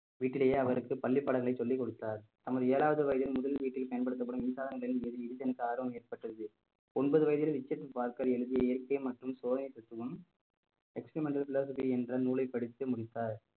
வீட்டிலேயே அவருக்கு பள்ளிப் பாடங்களை சொல்லிக் கொடுத்தார் நமது ஏழாவது வயதில் முதல் வீட்டில் பயன்படுத்தப்படும் மின்சார ஆர்வம் ஏற்பட்டது ஒன்பது வயதில் பார்க்கர் எழுதிய இயற்கை மற்றும் சோலைப் தத்துவம் experimental philosophy என்ற நூலைப் படித்து முடித்தார்